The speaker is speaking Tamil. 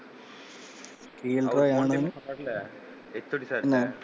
பக்கத்துல HOD sir என்ன?